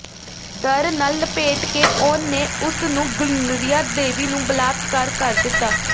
ਡਰ ਨਾਲ ਲਪੇਟ ਕੇ ਉਹ ਨੇ ਉਸ ਨੂੰ ਗ੍ਰੀਨਰੀਆ ਡੇਵੀ ਨੂੰ ਬਲਾਤਕਾਰ ਕਰ ਦਿੱਤਾ